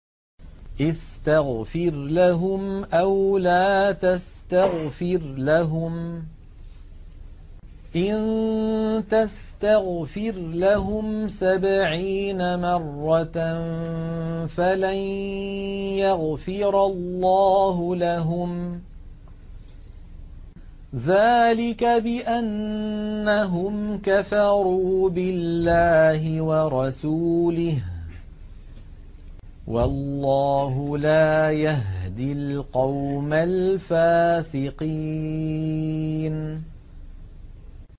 اسْتَغْفِرْ لَهُمْ أَوْ لَا تَسْتَغْفِرْ لَهُمْ إِن تَسْتَغْفِرْ لَهُمْ سَبْعِينَ مَرَّةً فَلَن يَغْفِرَ اللَّهُ لَهُمْ ۚ ذَٰلِكَ بِأَنَّهُمْ كَفَرُوا بِاللَّهِ وَرَسُولِهِ ۗ وَاللَّهُ لَا يَهْدِي الْقَوْمَ الْفَاسِقِينَ